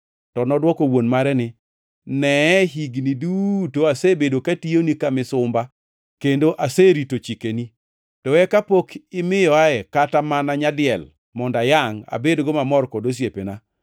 To nodwoko wuon mare ni, ‘Neye, hignigi duto asebedo katiyoni ka misumba kendo aserito chikeni. To eka pok imiyoa kata mana nyadiel mondo ayangʼ, abedgo mamor kod osiepena.